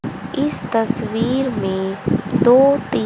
इस तस्वीर में दो तीन।